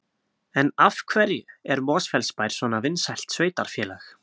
En af hverju er Mosfellsbær svona vinsælt sveitarfélag?